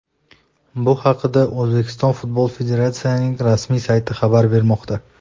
Bu haqda O‘zbekiston Futbol Federatsiyasining rasmiy sayti xabar bermoqda .